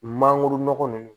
Mangoro nɔgɔ nunnu